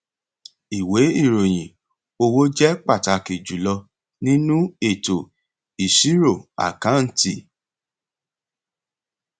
ìwé ìròyìn owó jẹ pàtàkì jùlọ nínú ètò ìṣírò àkáǹtì